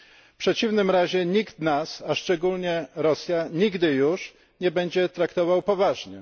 W przeciwnym razie nikt nas, a szczególnie Rosja, nigdy już nie będzie traktował poważnie.